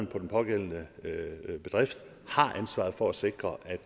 på den pågældende bedrift har ansvaret for at sikre at